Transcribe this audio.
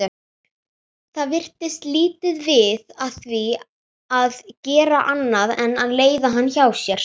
Það virtist lítið við því að gera annað en að leiða hann hjá sér.